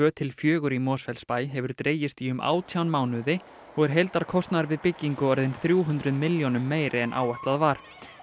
til fjögur í Mosfellsbæ hefur dregist í um átján mánuði og er heildarkostnaður við byggingu orðinn þrjú hundruð milljónum meiri en áætlað var